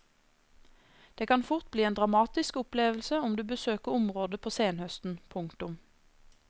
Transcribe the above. Det kan fort bli en dramatisk opplevelse om du besøker området på senhøsten. punktum